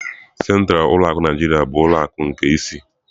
Sentralu ulọ akụ Naijiriya bụ ulọ akụ nke ịsị.